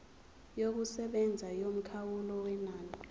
yokusebenza yomkhawulo wenani